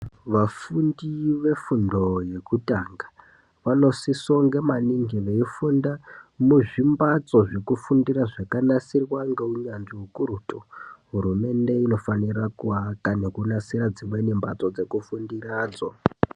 Vafundi vefundo yekutanga vanosisongo maningi veifunda muzvimbatso zvekufundira zvakanasirwa ngeunyanzvi hukurutu. Hurumende inofanira kuaka nekunasira dzimweni mhatso dzekufundira dzo.